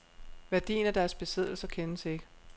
Værdien af deres besiddelser kendes ikke.